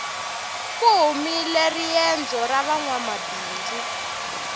ku humile riendzo ra vanwamabindzu